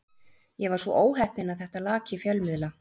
Ég var svo óheppinn að þetta lak í fjölmiðla.